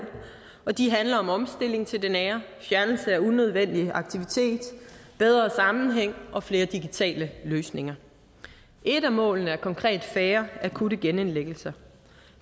og de handler om omstilling til det nære fjernelse af unødvendig aktivitet bedre sammenhæng og flere digitale løsninger et af målene er konkret færre akutte genindlæggelser